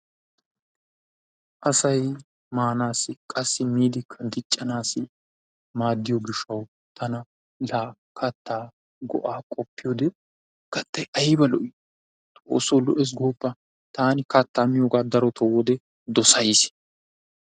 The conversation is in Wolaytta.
Asay maanaassi qassi miidikka diccanaassi maaddiyo gishshawu tana laa kattaa go'aa qoppiyode kattay ayba lo"i! Xoosso lo'ees gooppa! Taani kattaa miyoogaa darooni dossays.